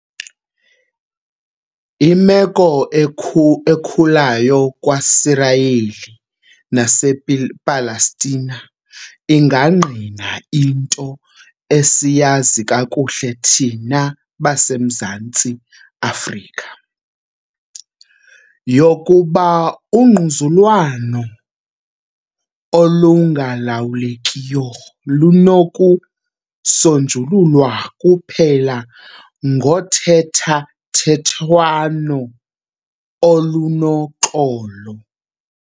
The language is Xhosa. Imeko ekhulayo kwaSirayeli nasePalestina ingangqina into esiyazi kakuhle thina baseMzantsi Afrika, yokuba ungquzulwano olungalawulekiyo lunoku sonjululwa kuphela ngothethathethwano olunoxolo.